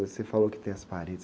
Você falou que tem as paredes.